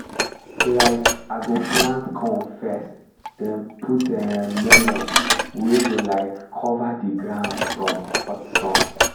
um i go plant corn first then put um melon wey go um cover the ground from hot sun.